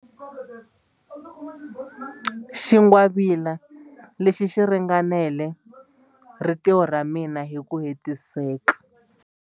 Xingwavila lexi xi ringanela rintiho ra mina hi ku hetiseka.